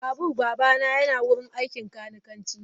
Babur babana yana wurin aikin kanikanci.